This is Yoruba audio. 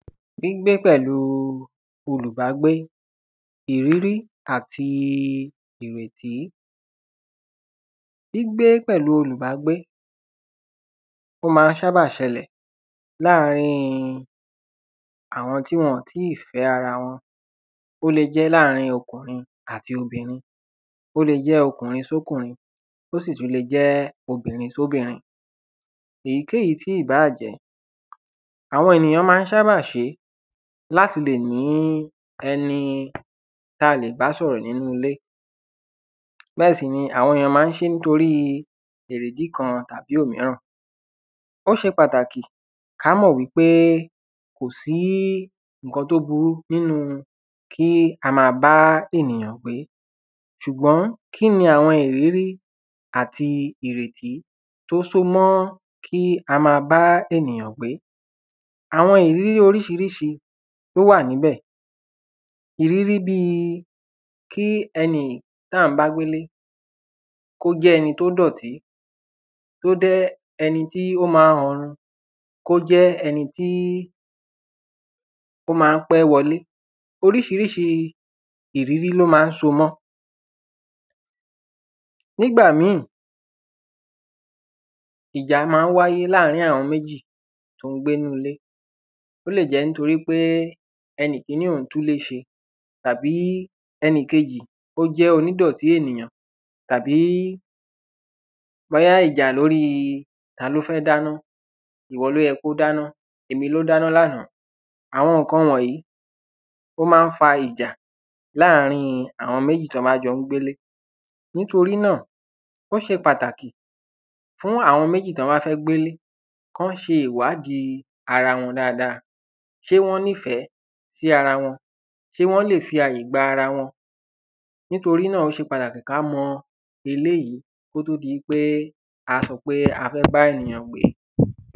Gbígbé pẹ̀lúu olùgbágbé, ìrírí àti ìrètí, gbígbé pẹ̀lúu olùgbágbé, o ma ń sábà ṣẹlẹ̀ láàrin àwọn tí wọn ò tíì fẹ́ ara wọn, ó le jẹ́ láàrin ọkùnrin àti obìnrin,, ó le jẹ́ ọkùnrin sọ́kùnrin, ó sì tún le jẹ́ obìnrin sọ́bìnrin. Èyíkéyìí tí ìbáà jẹ́ àwọn ènìyàn ma ń sábà ṣe é láti lè ní ẹni ta lè bá sọ̀rọ̀ nínu ilé, bẹ́ẹ̀ sì ni àwọn ènìyàn ma ń ṣe é nítorí èrè ìdí kan tàbí òmíràn. Ó ṣe pàtàkì, ká mọ̀ wípé kò sí ǹkan tó burú nínu kí a ma bá ènìyàn gbé, ṣùgbọ́n kí ni àwọn ìrírí àti ìrètí, tó so mọ́ kí a ma bá ènìyàn gbé. Àwọn ìrírí orísirísi ni ó wà níbẹ̀, ìrírí bíi kí ẹni tí à ń bá gbélé, kó jẹ́ ẹni tó dọ̀tí, kó jẹ́ ẹni tí ó ma ń ọrun, kó jẹ́ ẹni tí ó ma ń pé wọlé, orísirísi ìrírí ló ma ń so mọ. Nígbà mí, ìjà ma ń wáyé láàrin àwọn méjì tó ń gbé inú ilé, ó lè jẹ́ nítorí pé ẹni kiní òun tún ilé ṣe, tàbí ẹnìkejì, ó jẹ́ oní dọ̀tí ènìyàn, tàbí bóyá ìjà lóri ta ló fẹ́ dáná, ìwọ ló yẹ kó dáná, èmi ló dáná lánàá, àwọn ǹkan wọ̀nyí, ó ma ń fa ìjà láàrin àwọn méjì tí wọ́n ba ń jọ́ gbélé. Nítorí náà, ó se pàtàkì fún àwọn méjì tí wọ́n bá fẹ́ gbélé, kán ṣe ìwádìí ara wọn dada, ṣé wọ́n nífẹ̀ẹ́ si ara wọn, ṣe wọ́n lè fi àyè gba ara wọn, nítorí náà, ó ṣe pàtàkì ká mọ eléyìí, kó tó di pé, a sọ pé a fẹ́ gbá èyàn gbé.